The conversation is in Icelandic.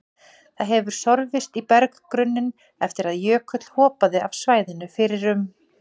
Það hefur sorfist í berggrunninn eftir að jökull hopaði af svæðinu fyrir um